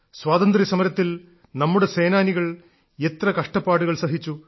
സ്വാതന്ത്ര്യസമരത്തിൽ നമ്മുടെ സേനാനികൾ എത്ര കഷ്ടപ്പാടുകൾ സഹിച്ചു